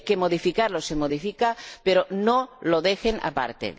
Si hay que modificarlo, se modifica, pero no lo dejen aparte.